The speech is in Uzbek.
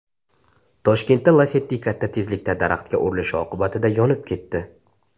Toshkentda Lacetti katta tezlikda daraxtga urilishi oqibatida yonib ketdi.